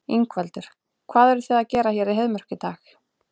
Ingveldur: Hvað eruð þið að gera hér í Heiðmörk í dag?